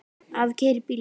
Afi keyrir bílinn.